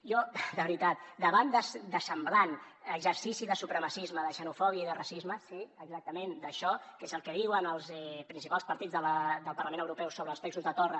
jo de veritat davant de semblant exercici de supremacisme de xenofòbia i de racisme sí exactament d’això que és el que diuen els principals partits del parlament europeu sobre els textos de torra